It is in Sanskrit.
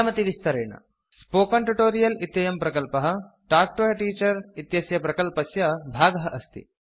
स्पोकेन Tutorialस्पोकन् ट्युटोरियल् इत्ययं प्रकल्पः तल्क् तो a Teacherटाक् टु ए टीचर् इत्यस्य प्रकल्पस्य भागः अस्ति